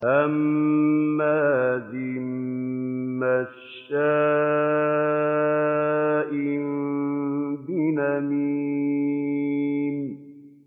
هَمَّازٍ مَّشَّاءٍ بِنَمِيمٍ